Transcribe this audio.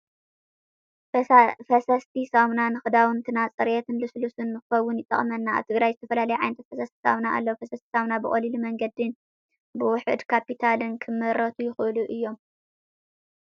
ፈሰስቲ ሳሙና ንክዳውንትና ፅሬትን ልስሉስ ንክኸውን ይጠቅመና። ኣብ ትግራይ ዝተፈላለዩ ዓይነታት ፈሰስቲ ሳሙና ኣለው። ፈሰስቲ ሳሙና ብቀሊል መንገድን በውሑድ ካፒታልን ክምረቱ ይክእሉ እዮም።